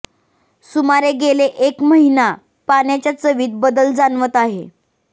सुमारे गेले एक महिना पाण्याच्या चवीत बदल जाणवत आहे